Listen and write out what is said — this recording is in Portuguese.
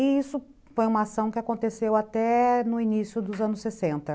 E isso foi uma ação que aconteceu até no início dos anos sessenta